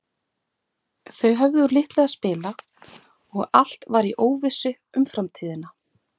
Það er smá bið en svo get ég verið mættur í sloppinn.